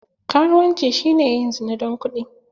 Karuwanci shine yin zina don kuɗi.